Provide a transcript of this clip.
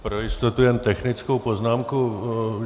Pro jistotu jen technickou poznámku.